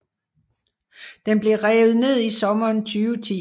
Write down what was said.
Den blev revet ned i sommeren 2010